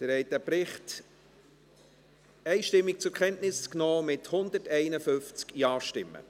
Sie haben diesen Bericht einstimmig zur Kenntnis genommen mit 151 Ja-Stimmen.